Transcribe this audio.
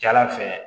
Jala fɛ